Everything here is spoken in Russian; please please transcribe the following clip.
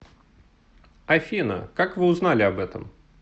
афина как вы узнали об этом